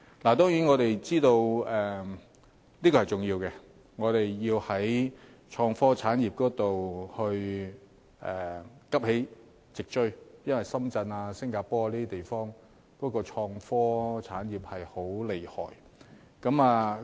當然，我們知道這是重要的，要在創科產業方面急起直追，因為深圳、新加坡等地的創科產業很厲害。